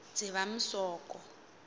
dzivamisoko